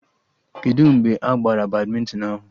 Kedụ mgbe a gbara badmịntịn ahụ?